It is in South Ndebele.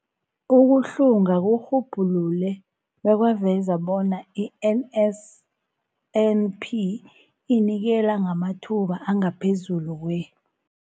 Ukuhlunga kurhubhulule bekwaveza bona i-NSNP inikela ngamathuba angaphezulu kwe-